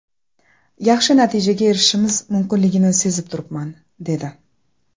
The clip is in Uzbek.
Yaxshi natijaga erishishimiz mumkinligini sezib turibman”, dedi.